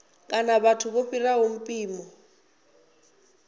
kana vhathu vho fhiraho mpimo